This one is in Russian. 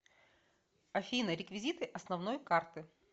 афина реквизиты основной карты